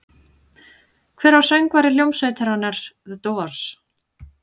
Hver var söngvari hljómsveitarinnar The Doors?